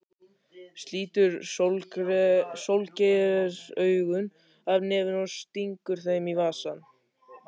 Slítur sólgleraugun af nefinu og stingur þeim í vasann.